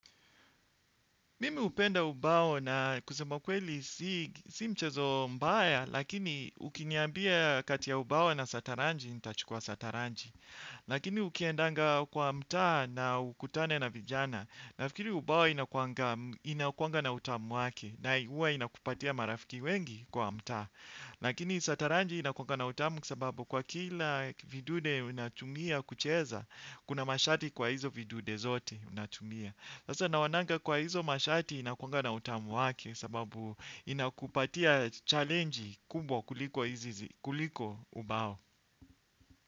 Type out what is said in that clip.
Mimi upenda ubao na kusema kweli si mchezo mbaya, lakini ukiniambia kati ya ubao na sataranji, nitachukua sataranji. Lakini ukiendanga kwa mtaa na ukutane na vijana. Nafikiri ubao inakuanga na utamu wake, na huwa inakupatia marafiki wengi kwa mtaa. Lakini sataranji inakuanga na utamu kwa sababu kwa kila vidude unatumia kucheza, kuna masharti kwa hizo vidude zote unatumia. Sasa naonanga kwa hizo mashati inakuanga na utamu wake sababu inakupatia challengi kubwa kuliko ubao.